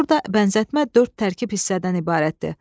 Burda bənzətmə dörd tərkib hissədən ibarətdir.